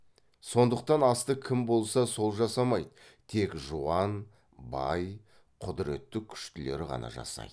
сондықтан асты кім болса сол жасамайды тек жуан бай құдіретті күштілер ғана жасайды